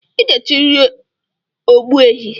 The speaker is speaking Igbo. I ga-echiriri ogbuehi